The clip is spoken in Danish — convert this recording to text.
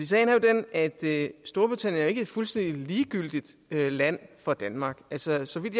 sagen er jo den at at storbritannien ikke er et fuldstændig ligegyldigt land for danmark altså så vidt